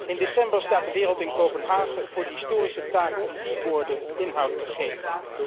In december staat de wereld in Kopenhagen voor de historische taak om die woorden inhoud te geven.